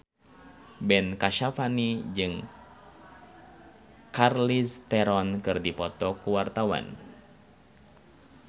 Ben Kasyafani jeung Charlize Theron keur dipoto ku wartawan